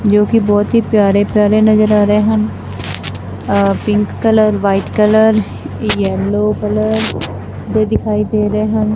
ਜੋ ਕਿ ਬਹੁਤ ਹੀ ਪਿਆਰੇ ਪਿਆਰੇ ਨਜ਼ਰ ਆ ਰਹੇ ਹਨ pink colour white colour yellow colour ਦੇ ਦਿਖਾਈ ਦੇ ਰਹੇ ਹਨ।